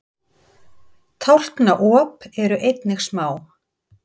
Tálknaop eru einnig smá.